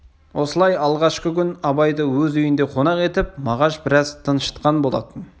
осылай алғашқы күн абайды өз үйінде қонақ етіп мағаш біраз тыншытқан болатын